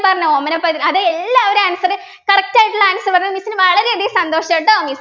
പറഞ്ഞ ഓമന പൈതൽ അതെ എല്ലാവരും answer correct ആയിട്ടുള്ള answer പറഞ്ഞു miss നു വളരെയധികം സന്തോഷ ട്ടോ